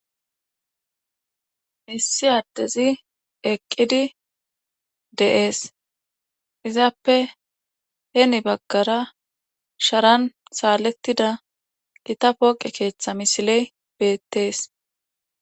Iss adez eqid de'es, izappe hen bagara Sharan saletida Gita pooqe keethay misiley beetesi.